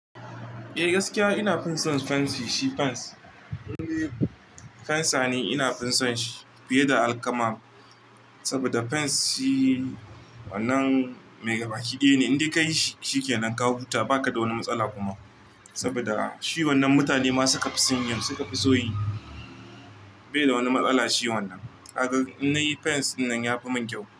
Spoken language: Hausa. Eh gaskiya ina fin son fancy. Shi fans indai fansa ne iina fin son shi fiye da alkama. Saboda fence shi wannan mai gaba ki daya ne, in dai ka yi shi shi ke nan ka huta ba ka da wani matsala kuma. Saboda shi wannan mutane ma suka fi son yin suka fi so yi. Bai da wani matsala shi wannan. Kaga in na yi fence dinnan ya fi min kyau.